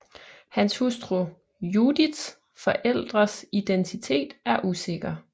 Hans hustru Judiths forældres identitet er usikker